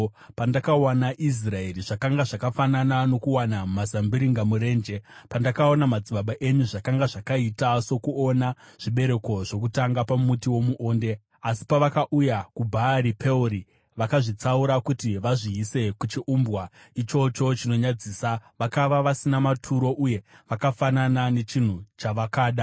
“Pandakawana Israeri, zvakanga zvakafanana nokuwana mazambiringa murenje; pandakaona madzibaba enyu, zvakanga zvakaita sokuona zvibereko zvokutanga pamuti womuonde. Asi pavakauya kuBhaari Peori, vakazvitsaura kuti vazviise kuchiumbwa ichocho chinonyadzisa, vakava vasina maturo uye vakafanana nechinhu chavakada.